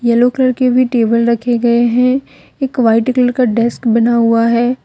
Yellow colour के भी table रखे गए हैं एक व्हाइट कलर का डेस्क बना हुआ है।